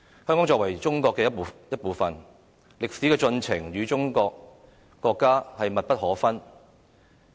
香港作為中國的一部分，歷史的進程與國家密不可分。